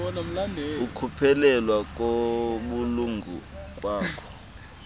ukuphelelwa kobulungu bakho